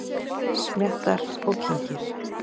Smjattar og kyngir.